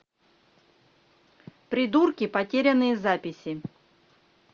придурки потерянные записи